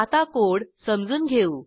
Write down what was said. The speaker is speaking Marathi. आता कोड समजून घेऊ